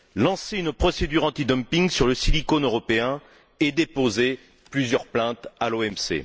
lancé une procédure anti dumping sur le silicone européen et déposé plusieurs plaintes à l'OMC.